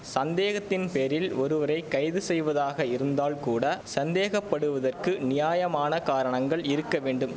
சந்தேகத்தின் பேரில் ஒருவரை கைது செய்வதாக இருந்தால் கூட சந்தேகப்படுவதற்கு நியாயமான காரணங்கள் இருக்க வேண்டும்